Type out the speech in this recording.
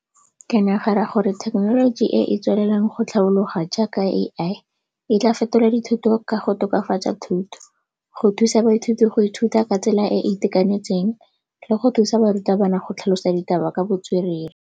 Ke nagana gore thekenoloji e e tswelelang go tlhaologa jaaka AI e tla fetola dithuto ka go tokafatsa thuto, go thusa baithuti go ithuta ka tsela e e itekanetseng le go thusa barutabana go tlhalosa ditaba ka botswerere.